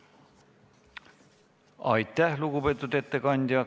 Aitäh, lugupeetud ettekandja!